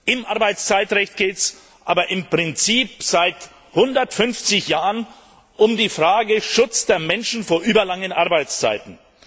Im Arbeitszeitrecht geht es aber im Prinzip seit 150 Jahren um die Frage des Schutzes von Menschen vor überlangen Arbeitszeiten.